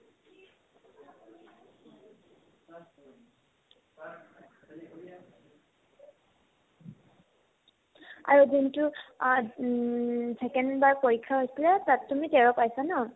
আৰু দিনতো আ উম second বাৰ পৰীক্ষা হৈছিলে তাত তুমি তেৰ পাইছা ন